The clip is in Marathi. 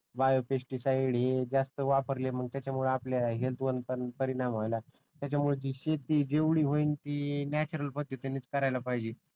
बायो पेस्टिसाइड हे जास्त वापरले मग त्याच्यामुळे आपल्या हेल्थ वर पण परिणाम व्हायला लागला त्याच्यामुळे जे शेती जेवढी होईल ती नॅचरल पद्धतीनेच करायला पाहिजे